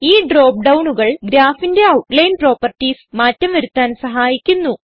ഈ ഡ്രോപ്പ് ഡൌണുകൾ Graphന്റെ ഔട്ട് ലൈൻ പ്രൊപ്പറ്റീസ് മാറ്റം വരുത്താൻ സഹായിക്കുന്നു